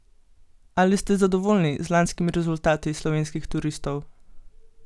Ali ste zadovoljni z lanskimi rezultati slovenskih turistov?